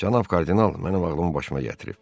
Cənab kardinal mənim ağlımı başıma gətirib.